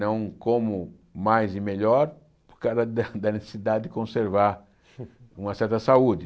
Não como mais e melhor para o causa da da necessidade de conservar uma certa saúde.